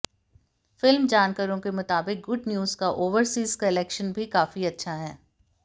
film जानकारों के मुताबिक गुड न्यूज का ओवरसीज कलेक्शन भी काफी अच्छा है